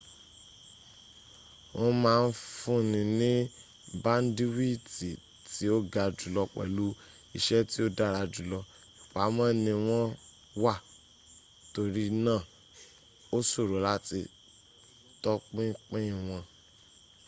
wọ́n ma n fúnni ní báńdíwìtì tí o ga jùlọ pèlú iṣẹ́ tí ó dára jùlọ. ìpamọ́ ni wọ́n wà torí náà ó ṣòro láti tọpinpin wọn